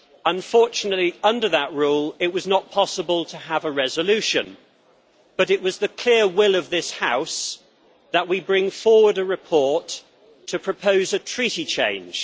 Unfortunately, under that rule, it was not possible to have a resolution, but it was the clear will of this House that we bring forward a report to propose a treaty change.